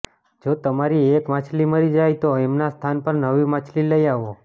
જો તમારી એક માછલી મરી જાય તો એમના સ્થાન પર નવી માછલી લઈ આવો